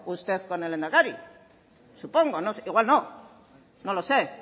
usted con el lehendakari supongo igual no no lo sé